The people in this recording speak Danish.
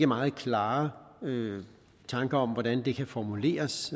meget klare tanker om hvordan det kan formuleres